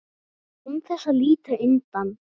Án þess að líta undan.